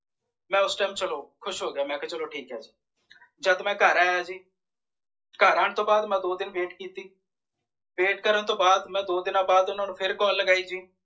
ਮੈਂ ਓਸ time ਚੱਲੋ ਮੈਂ ਖੁਸ਼ ਹੋਗਿਆ ਮੇਕੇਹਾ ਚਲੋ ਠੀਕ ਹੈ ਜੀ ਜਦ ਮੈਂ ਘਰ ਆਯਾ ਜੀ ਘਰ ਆਣ ਤੌਂ ਵਾਅਦ ਮੈਂ ਦੋ ਦਿਨ wait ਕੀਤੀ wait ਕਰਣ ਤੌਂ ਵਾਦ ਮੈਂ ਦੋ ਦੀਨਾ ਵਾਦ ਓਹਨਾ ਨੂੰ ਫੇਰ call ਲਗਾਈ ਜੀ